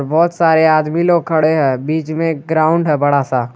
बहुत सारे आदमी लोग खड़े हैं बीच में ग्राउंड है बड़ा सा।